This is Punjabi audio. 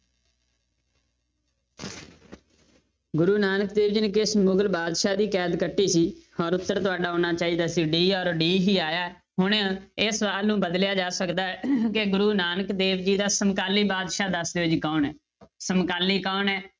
ਗੁਰੂ ਨਾਨਕ ਦੇਵ ਜੀ ਨੇ ਕਿਸ ਮੁਗ਼ਲ ਬਾਦਸ਼ਾਹ ਦੀ ਕੈਦ ਕੱਟੀ ਸੀ ਔਰ ਉੱਤਰ ਤੁਹਾਡਾ ਆਉਣਾ ਚਾਹੀਦਾ ਸੀ d ਔਰ d ਹੀ ਆਇਆ ਹੈ, ਹੁਣ ਇਹ ਸਵਾਲ ਨੂੰ ਬਦਲਿਆ ਜਾ ਸਕਦਾ ਹੈ ਕਿ ਗੁਰੂ ਨਾਨਕ ਦੇਵ ਜੀ ਦਾ ਸਮਕਾਲੀ ਬਾਦਸ਼ਾਹ ਦੱਸ ਦਿਓ ਜੀ ਕੌਣ ਹੈ ਸਮਕਾਲੀ ਕੌਣ ਹੈ?